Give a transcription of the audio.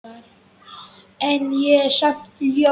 En ég er samt ljón.